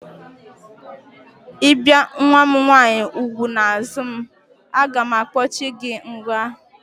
I bie nwa m nwaanyị úgwù n'azụ m, a ga m akpochi gị n'nga!